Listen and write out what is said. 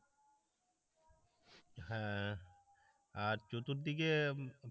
হ্যাঁ আর চতুর্দিকে